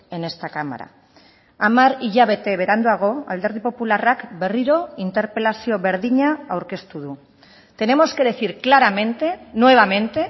en esta cámara hamar hilabete beranduago alderdi popularrak berriro interpelazio berdina aurkeztu du tenemos que decir claramente nuevamente